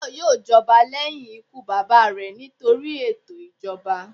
Tayo yoò jọba lẹhin ikú baba rẹ nitori eto ijọba.